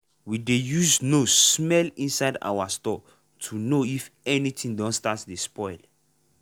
we dey use nose smell inside our store to know if anything don start to spoil.